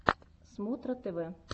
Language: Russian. смотра тв